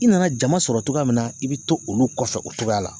I nana jama sɔrɔ cogoya min na i bɛ to olu kɔfɛ o cogoya la